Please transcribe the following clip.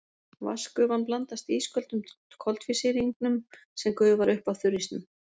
Vatnsgufan blandast ísköldum koltvísýringnum sem gufar upp af þurrísnum.